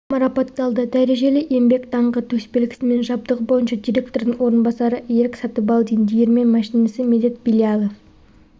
марапатталды дәрежелі еңбек даңқы төсбелгісімен жабдығы бойынша директордың орынбасары ерік сатыбалдин диірмен машинисі медет билялов